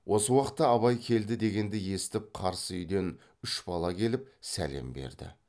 осы уақытта абай келді дегенді есітіп қарсы үйден үш бала келіп сәлем берді